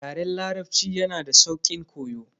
Yaren larabci yanada sauƙin koyo.